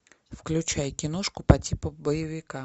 включай киношку по типу боевика